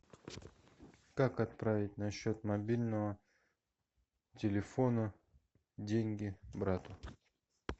как отправить на счет мобильного телефона деньги брату